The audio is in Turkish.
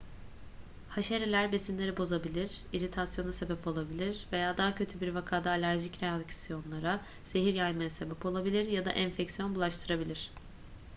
haşereler besinleri bozabilir iritasyona sebep olabilir veya daha kötü bir vakada alerjik reaksiyonlara zehir yaymaya sebep olabilir ya da enfeksiyon bulaştırabilir